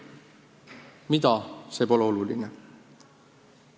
Mida – see pole oluline.